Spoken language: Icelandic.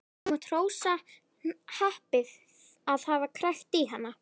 Þú mátt hrósa happi að hafa krækt í hana.